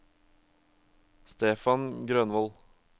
Stefan Grønvold